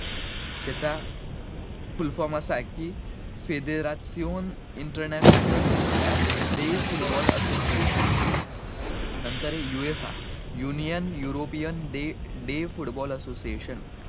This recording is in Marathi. त्याचा fullform असाआहे कि, federal international the foot ball association नंतर आहे AFC